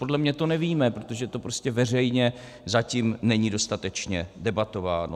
Podle mě to nevíme, protože to prostě veřejně zatím není dostatečně debatováno.